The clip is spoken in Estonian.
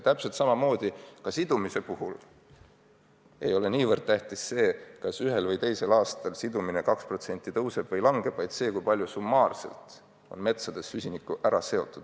Täpselt samamoodi ei ole ka süsiniku sidumise puhul tähtis niivõrd see, kas ühel või teisel aastal sidumine 2% tõuseb või langeb, kuivõrd see, kui palju summaarselt on metsades süsinikku ära seotud.